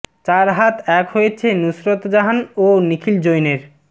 চার হাত এক হয়েছে নুসরত জাহান ও নিখিল জৈনের